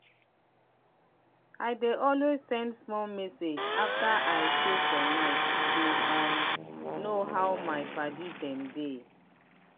i dey always send small message after i chow for night to um know how my padi dem dey.